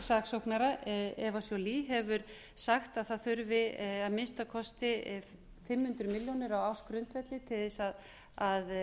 saksóknara eva joly hefur sagt að það þurfi að minnsta kosti fimm hundruð milljónir á ársgrundvelli til að